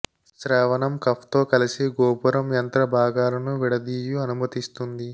శ్రావణం కఫ్ తో కలిసి గోపురం యంత్ర భాగాలను విడదీయు అనుమతిస్తుంది